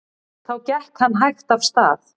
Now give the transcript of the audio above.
Þá gekk hann hægt af stað.